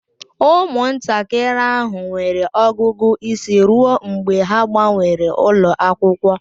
Ụmụntakịrị ahụ nwere ọgụgụ isi ruo mgbe ha gbanwere ụlọ akwụkwọ